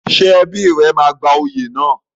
Ṣé ẹbí rẹ máa gba oyè náà?